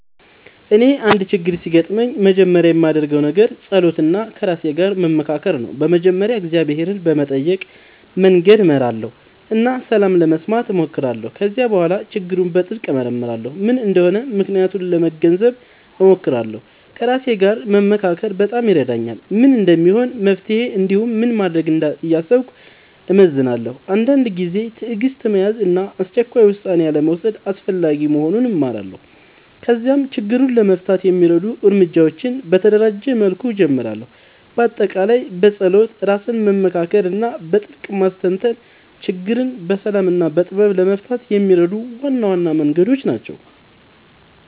እኔ አንድ ችግር ሲያጋጥምኝ መጀመሪያ የማደርገው ነገር መጸሎት እና ከራሴ ጋር መመካከር ነው። በመጀመሪያ እግዚአብሔርን በመጠየቅ መንገድ እመራለሁ እና ሰላም ለመስማት እሞክራለሁ። ከዚያ በኋላ ችግሩን በጥልቅ እመርመራለሁ፤ ምን እንደሆነ ምክንያቱን ለመገንዘብ እሞክራለሁ። ከራሴ ጋር መመካከር በጣም ይረዳኛል፤ ምን እንደሚሆን መፍትሄ እንዲሁም ምን እንደማደርግ እያሰብኩ እመዝናለሁ። አንዳንድ ጊዜ ትዕግሥት መያዝ እና አስቸኳይ ውሳኔ አልመውሰድ አስፈላጊ መሆኑን እማራለሁ። ከዚያም ችግሩን ለመፍታት የሚረዱ እርምጃዎችን በተደራጀ መልኩ እጀምራለሁ። በአጠቃላይ መጸሎት፣ ራስን መመካከር እና በጥልቅ ማስተንተን ችግርን በሰላም እና በጥበብ ለመፍታት የሚረዱ ዋና ዋና መንገዶች ናቸው።